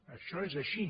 això és així